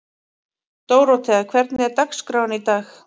Dórótea, hvernig er dagskráin í dag?